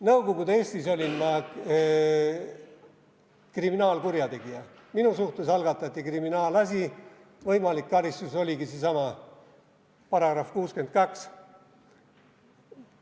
Nõukogude Eestis olin ma kriminaalkurjategija, minu suhtes algatati kriminaalasi, võimalik karistus oligi seesama § 62.